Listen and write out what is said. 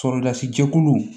Sɔrɔlasi jɛkuluw